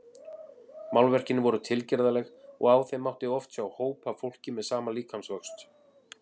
Málverkin voru tilgerðarleg og á þeim mátti oft sjá hóp af fólki með sama líkamsvöxt.